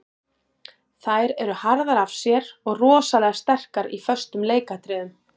Þær eru harðar af sér og rosalega sterkar í föstum leikatriðum.